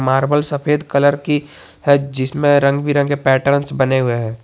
Marble सफेद colour की है जिसमें रंग बिरंगे पेटर्न्स बने हुए हैं।